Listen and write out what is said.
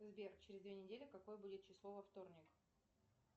сбер через две недели какое будет число во вторник